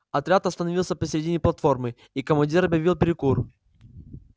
отряд остановился посередине платформы и командир объявил перекур